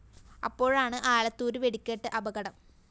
അപ്പോഴാണ് ആലത്തൂര് വെടിക്കെട്ട് അപകടം